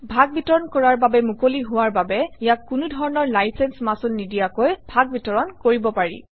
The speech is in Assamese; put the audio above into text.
ভাগবিতৰণ কৰাৰ বাবে মুকলি হোৱাৰ বাবে ইয়াক কোনো ধৰণৰ লাইচেন্স মাচুল নিদিয়াকৈ ভাগবিতৰণ কৰিব পাৰি